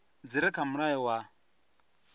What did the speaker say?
dzi re kha mulayo wa